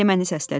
Həliməni səslədim.